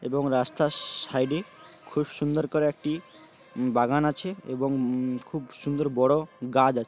এবং রাস্তার সা-সাইডে খুব সুন্দর করে একটি বাগান আছে এবং উম খুব সুন্দর বড় গাছ আছে ।